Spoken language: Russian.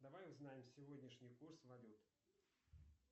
давай узнаем сегодняшний курс валют